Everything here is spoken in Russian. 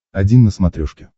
один на смотрешке